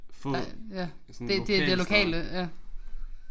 Få af sådan lokalsteder